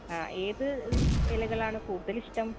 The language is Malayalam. ആ ഏത് ഇലകളാണ് കൂടുതൽ ഇഷ്ട്ടം